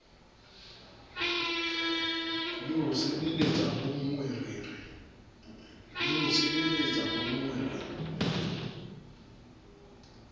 le ho sebeletsa bonngwe re